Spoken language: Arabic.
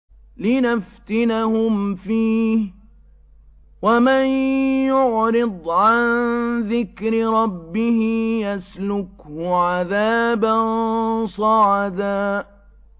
لِّنَفْتِنَهُمْ فِيهِ ۚ وَمَن يُعْرِضْ عَن ذِكْرِ رَبِّهِ يَسْلُكْهُ عَذَابًا صَعَدًا